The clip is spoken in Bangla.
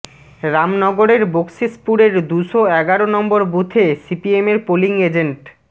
রামনগরের বকশিসপুরের দুশো এগারো নম্বর বুথে সিপিএমের পোলিং এজেন্ট